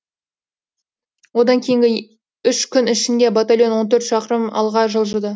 одан кейінгі үш күн ішінде батальон он төрт шақырым алға жылжыды